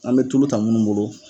An be tulu ta munnu bolo.